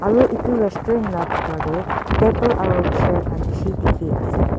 aru edu resturant la bitor tae table aro chair khan bishi dikhiase.